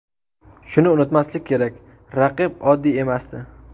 Shuni unutmaslik kerak, raqib oddiy emasdi.